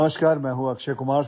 নমস্কাৰ মই অক্ষয় কুমাৰ